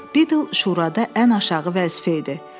Biddle şurada ən aşağı vəzifə idi.